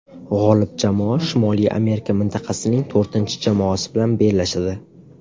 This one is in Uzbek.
G‘olib jamoa Shimoliy Amerika mintaqasining to‘rtinchi jamoasi bilan bellashadi.